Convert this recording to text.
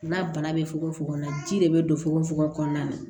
N'a bana bɛ fogofogo na ji de bɛ don fogofogo kɔnɔna na